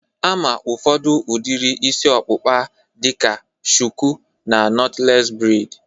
Ama ụfọdụ udiri isi ọkpụkpa a dịka shuku na nọtlees breid